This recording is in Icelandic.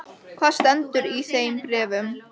Og hvað stendur í þeim bréfum?